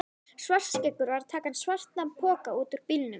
Svartskeggur var að taka svartan poka út úr bílnum.